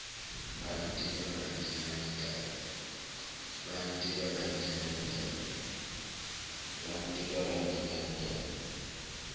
la nteka la nkenya ditabeng